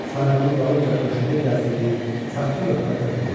Sarığının dalınca döşündə gəzdirdiyi saxta lövhəni də tulladı.